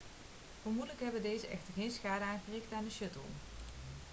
vermoedelijk hebben deze echter geen schade aangericht aan de shuttle